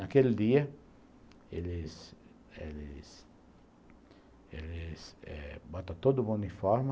Naquele dia, eles eles eles eles eh botam todo o uniforme,